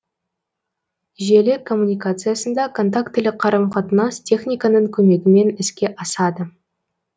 желі коммуникациясында контактілі қарым қатынас техниканың көмегімен іске асады